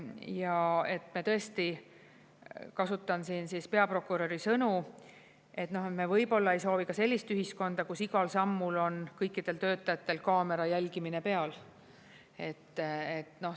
Ja et me tõesti, kasutan siin siis peaprokuröri sõnu, et me võib-olla ei soovi ka sellist ühiskonda, kus igal sammul on kõikidel töötajatel kaamera jälgimine peal.